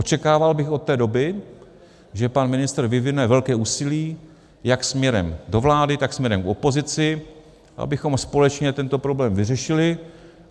Očekával bych od té doby, že pan ministr vyvine velké úsilí jak směrem do vlády, tak směrem k opozici, abychom společně tento problém vyřešili.